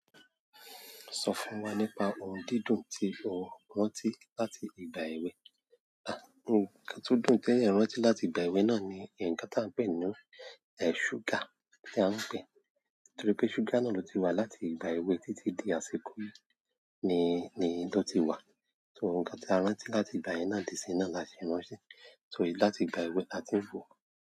Sọ fún wa nípa ohun dídùn tí o rántí láti ìgbà èwe. À, ǹkan tó dùn tí ẹ̀ n rántí láti ìgbà èwe náà ni ǹkan tá a ń pè ní ẹ̀ ṣúgà tí a ń pè, torí pé ṣúgà náà ló ti wà láti ìgbà èwe títí di àsìkò yìí ni, ni ló ti wà. So ǹkan tí a rántí láti ìgbà yìí náà di sí iná la ṣe rántí. So láti ìgbà èwe la tí ń ló.